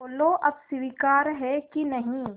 बोलो अब स्वीकार है कि नहीं